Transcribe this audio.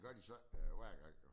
Det gør de så ikke hver gang jo